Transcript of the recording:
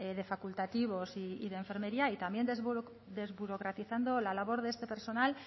de facultativos y de enfermería y también desburocratizando la labor de este personal